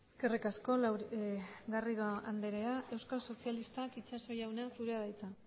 eskerrik asko garrido andrea euskal sozialistak itxaso jauna zurea da hitza